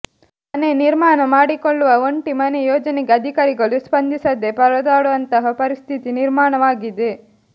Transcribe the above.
ಮನೆ ನಿರ್ಮಾಣ ಮಾಡಿಕೊಳ್ಳುವ ಒಂಟಿ ಮನೆ ಯೋಜನೆಗೆ ಅಧಿಕಾರಿಗಳು ಸ್ಪಂದಿಸದೆ ಪರದಾಡುವಂತಹ ಪರಿಸ್ಥಿತಿ ನಿರ್ಮಾಣವಾಗಿದೆ